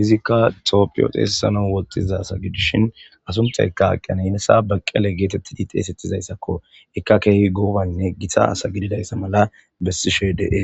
izikka tophiyoxeesesano woxxiza sa gidishin asunthayka aqqiyana inesa baqqele geetettidi xeesettizayssakko ekka keehi goobaynne gita asa gididayssa mala bessishe deees